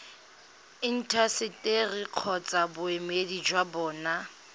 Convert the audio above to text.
intaseteri kgotsa boemedi jwa bona